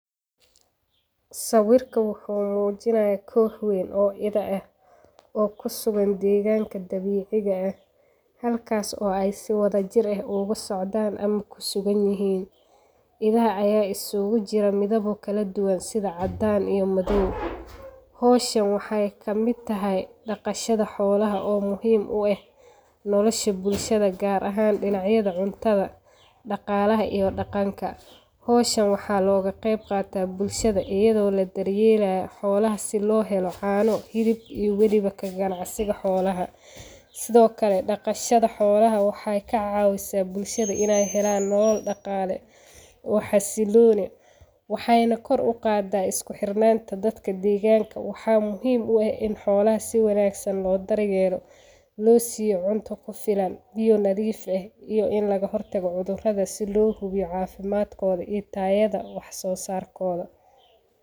Sawirkan wuxu mujinaya koox wayn oo idha eeh oo kusugan degankaa dabiciga eeh halkaas oo sidhi wada jiir aay ugasocdaan ama ay kusugunyihiin. Idhaha aya isku jir midhawa kaladuwan sidha cadaan iyo midhaw. Hawshaan waxay kamid tahay daqashadha xoolaha oo muhiim u eeh nolasha bulshada gaar ahaan dinacyadha cuntadha, dagalaha iyo daganka. Hawshan waxa loga qeyb qaata bulshada ayado la da yeelayo xoolaha si loohelo caano, xilib iyo waliba kaganacsiga xoolaha. Sidho kale daqasha xoolaha waxay kacawisa bulshada inay helaan hawl daqale oo xasilon eeh waxay koor uqada isku xirnanta dadka deganka waxa muhiim u eeh in xoolaha si wanagsan loo daar yeelo losiyo cunta kufilaan biyo nadhiif eeh iyo in lagahotaqo cudhuradaha si loo hubiyo cafimaadkodha iyo taadha wax so sarkoda.